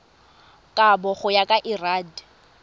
kabo go ya ka lrad